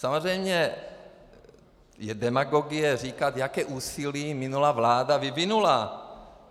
Samozřejmě je demagogie říkat, jaké úsilí minulá vláda vyvinula.